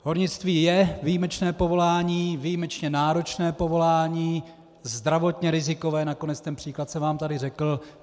Hornictví je výjimečné povolání, výjimečně náročné povolání, zdravotně rizikové, nakonec ten příklad jsem vám tady řekl.